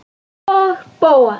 Og Bóas.